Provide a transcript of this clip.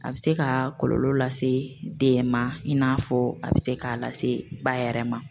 A bɛ se ka kɔlɔlɔ lase den ma i n'a fɔ a bɛ se k'a lase ba yɛrɛ ma.